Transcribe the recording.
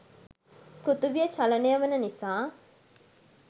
පෘථිවිය චලනය වන නිසා